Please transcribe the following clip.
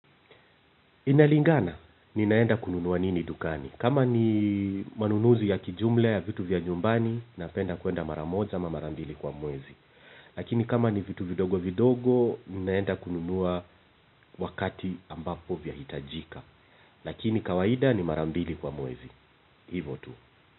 Inalingana, ninaenda kununua nini dukani. Kama ni manunuzi ya kijumla ya vitu vya nyumbani, napenda kuenda mara moja ama mara mbili kwa mwezi. Lakini kama ni vitu vidogo vidogo, ninaenda kununua wakati ambapo vyahitajika. Lakini kawaida ni mara mbili kwa mwezi. Hivo tu.